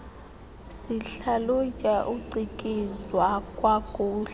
sihlalutya ucikizwa kwakule